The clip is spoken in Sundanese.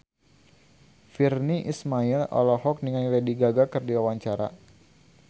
Virnie Ismail olohok ningali Lady Gaga keur diwawancara